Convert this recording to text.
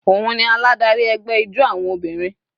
Òun ni aládarí ẹgbẹ́ ijó àwọn obìnrin.